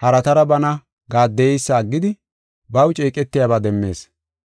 haratara bana gaaddeyeysa aggidi baw ceeqetiyaba demmees.